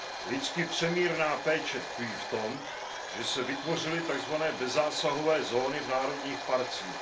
Lidsky přemírná péče tkví v tom, že se vytvořily tzv. bezzásahové zóny v národních parcích.